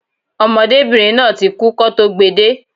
Ọmọdébìnrin náà ti kú kọ́ tó gbe de